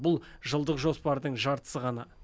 бұл жылдық жоспардың жартысы ғана